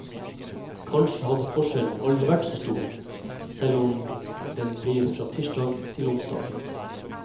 Kanskje har forskjellen aldri vært så stor som den blir fra tirsdag til onsdag.